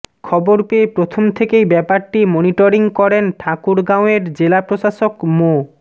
খবর পেয়ে প্রথম থেকেই ব্যাপারটি মনিটরিং করেন ঠাকুরগাঁওয়ের জেলা প্রশাসক মো